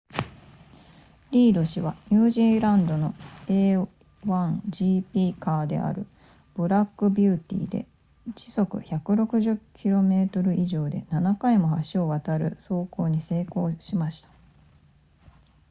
リード氏はニュージーランドの a1gp カーであるブラックビューティーで時速160 km 以上で7回も橋を渡る走行に成功しました